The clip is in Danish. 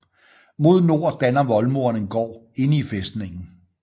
Mod nord danner voldmuren en gård inde i fæstningen